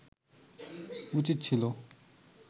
উচিত ছিল